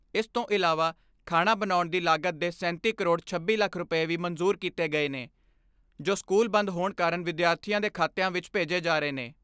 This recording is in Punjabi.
ਇਸ ਤੋਂ ਇਲਾਵਾ ਖਾਣਾ ਬਣਾਉਣ ਦੀ ਲਾਗਤ ਦੇ ਸੈਂਤੀ ਕਰੋੜ ਛੱਬੀ ਲੱਖ ਰੁਪੈ ਵੀ ਮਨਜ਼ੂਰ ਕੀਤੇ ਗਏ ਨੇ, ਜੋ ਸਕੂਲ ਬੰਦ ਹੋਣ ਕਾਰਨ ਵਿਦਿਆਰਥੀਆਂ ਦੇ ਖਾਤਿਆਂ ਵਿਚ ਭੇਜੇ ਜਾ ਰਹੇ ਨੇ।